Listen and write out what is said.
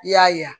I y'a ye